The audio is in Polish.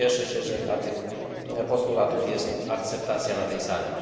Cieszę się, że dla tych postulatów jest akceptacja na tej sali.